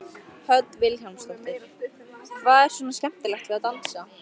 Hödd Vilhjálmsdóttir: Hvað er svona skemmtilegt við að dansa?